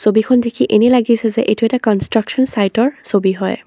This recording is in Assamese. ছবিখন দেখি এনে লাগিছে যে এইটো এটা কনষ্ট্ৰাচন চাইটৰ ছবি হয়।